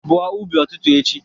igbo ubi ututu echi!